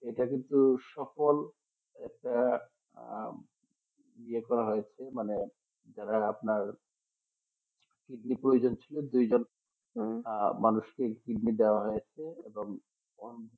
এটা কিন্তু সকল একটা আর লেখা আছে যারা আপনার কিডনি প্রয়োজন ছিল তা মানুষকে কিডনি দেওয়া হয়েছে এবং